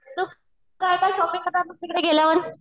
तू काय काय शॉपिंग करणार मग तुकडे गेल्यावर?